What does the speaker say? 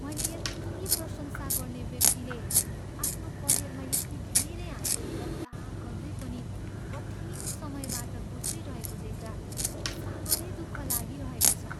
मैले यति प्रशंसा गर्ने व्यक्तिले आफ्नो करियरमा यति धेरै हासिल गर्दागर्दै पनि कठिन समयबाट गुज्रिरहेको देख्दा साह्रै दुःख लागिरहेको छ।